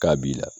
K'a b'i la